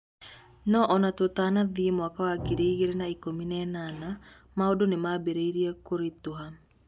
No o na tũtanathiĩ 2018, maũndũ nĩ maambĩrĩirie kũritũha.